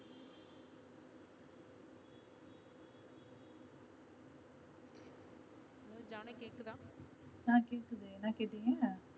அஹ் கேக்குது என்ன கேட்டீங்க?